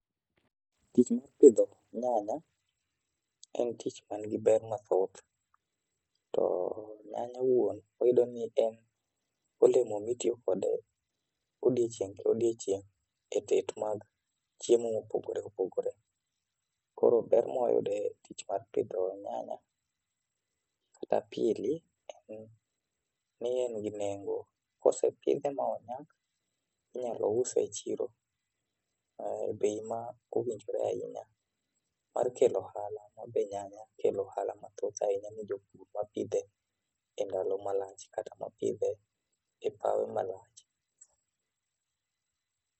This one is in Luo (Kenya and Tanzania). Tich mar pidho nyanya en tich man gi ber mathoth to nyanya owuon wayudo ni en olemo mitiyo kode odiochieng' ka odiochieng' e tet mag chiemo mopogore opogore. koro ber mwayude tich mara pidho nyanya kata en ni en gi nengo. kosepidhe monyak inyal use e chiro e bei ma owinjore ahinya mar kelo ohala ma be nyanya kelo ohala mathoth ahinya ne jopur mapidhe e ndalo malach kata mapidhe e pawe malach.